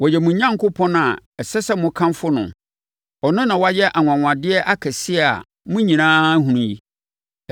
Ɔyɛ mo Onyankopɔn a ɛsɛ sɛ mokamfo no. Ɔno na wayɛ anwanwadeɛ akɛseɛ a mo nyinaa ahunu bi.